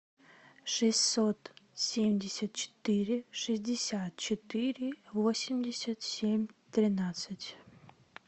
шестьсот семьдесят четыре шестьдесят четыре восемьдесят семь тринадцать